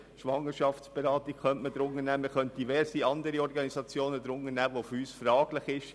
man könnte auch die Schwangerschaftsberatung und diverse andere Organisationen berücksichtigen.